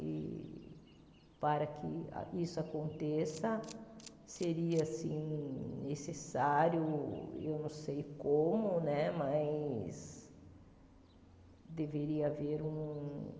E para que isso aconteça seria assim necessário, ou eu não sei como, mas deveria haver um